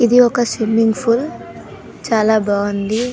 ఇది ఒక swimming pool చలా బాగుంది.